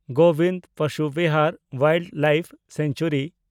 Gobind Pashu Vihar wildlife sanctuary